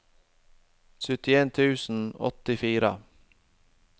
syttien tusen og åttifire